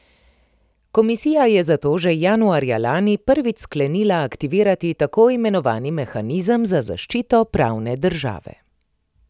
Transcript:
Komisija je zato že januarja lani prvič sklenila aktivirati tako imenovani mehanizem za zaščito pravne države.